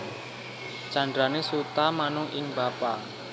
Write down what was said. Candrané Suta manut ing bapa